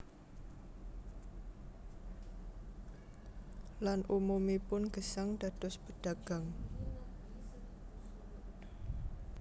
Lan umumipun gesang dados pedagang